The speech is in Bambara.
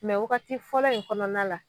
Mɛ wagati fɔlɔ in kɔnɔna la